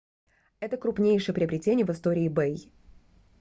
это крупнейшее приобретение в истории ebay